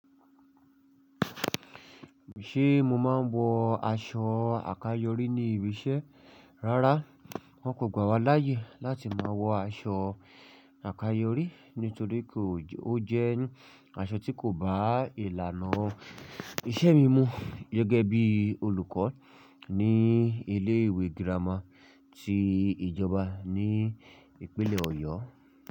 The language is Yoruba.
Ṣé mo máa ń wọ aṣọ àkayòrí ní ibi iṣẹ́? Rárá, wọn kò gbà wá láyè láti máa wọ aṣọ àkayòrí nítorí kò ó jẹ́ aṣọ tí kò bá ìlànà iṣẹ́ mi mu gẹ́gẹ́ bí olùkọ́ ní ilé ìwé girama ti ìjọba ní ìpínlẹ̀ Ọ̀yọ́.